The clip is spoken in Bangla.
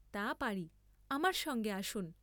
তা পারি, আমার সঙ্গে আসুন।